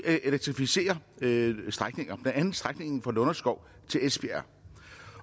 elektrificerer nogle strækninger blandt andet strækningen fra lunderskov til esbjerg